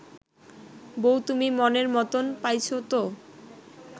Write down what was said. বৌ তুমি মনের মতন পাইছ ত